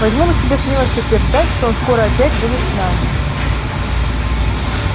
возьму на себя смелость утверждать что он скоро опять будет с нами